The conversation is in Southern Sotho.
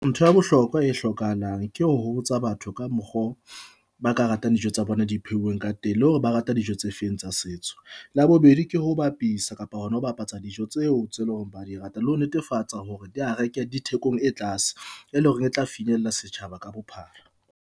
Ntho ya bohlokwa e hlokahalang ke ho botsa batho ka mokgo ba ka ratang dijo tsa bona di phehilweng ka teng, le hore ba rata dijo tse feng tsa setso. La bobedi, ke ho bapisa kapa hona ho bapatsa dijo tseo tse leng hore ba di rata, le ho netefatsa hore di ha reke dithekong e tlase, e leng hore e tla finyella setjhaba ka bophara.